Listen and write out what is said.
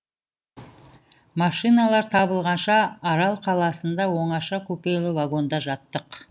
машиналар табылғанша арал қаласында оңаша купелі вагонда жаттық